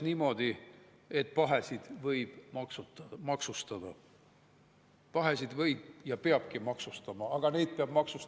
Üks meie aja kangelane nimega Avo Viiol riisus aastatel 1999–2002 ametiseisundit kuritarvitades kultuurkapitalist 544 649 eurot.